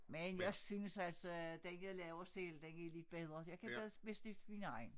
Men jeg synes altså at den jeg laver selv den er lidt bedre jeg kan bedst bedst lide min egen